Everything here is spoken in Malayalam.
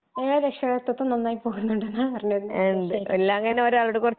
നിങ്ങടെ രക്ഷാകർത്തിത്വം നന്നായി പോകുന്നുണ്ടന്ന പറഞ്ഞുവരുന്നേ